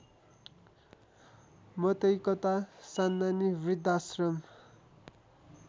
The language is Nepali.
मतैकता सान्नानी वृद्धाश्रम